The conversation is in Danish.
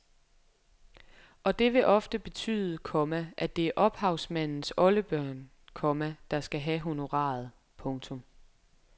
Og det vil ofte betyde, komma at det er ophavsmandens oldebørn, komma der skal have honoraret. punktum